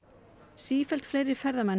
sífellt fleiri ferðamenn